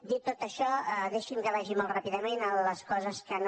dit tot això deixi’m que vagi molt ràpidament a les coses que no